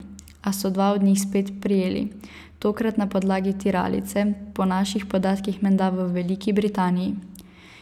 A so dva od njih spet prijeli, tokrat na podlagi tiralice, po naših podatkih menda v Veliki Britaniji.